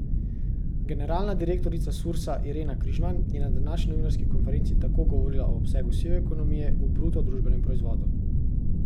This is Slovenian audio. Generalna direktorica Sursa Irena Križman je na današnji novinarski konferenci tako govorila o obsegu sive ekonomije v bruto družbenem proizvodu.